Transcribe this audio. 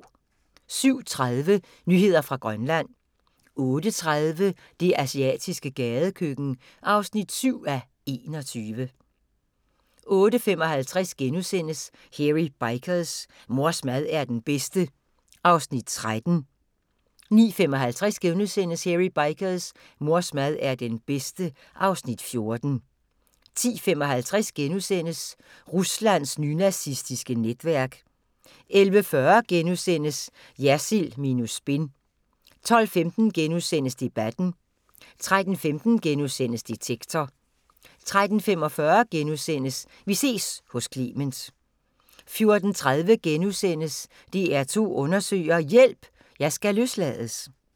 07:30: Nyheder fra Grønland 08:30: Det asiatiske gadekøkken (7:21) 08:55: Hairy Bikers: Mors mad er den bedste (Afs. 13)* 09:55: Hairy Bikers: Mors mad er den bedste (Afs. 14)* 10:55: Ruslands nynazistiske netværk * 11:40: Jersild minus spin * 12:15: Debatten * 13:15: Detektor * 13:45: Vi ses hos Clement * 14:30: DR2 Undersøger: Hjælp – Jeg skal løslades *